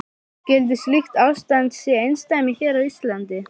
Skyldi slíkt ástand sé einsdæmi hér á landi?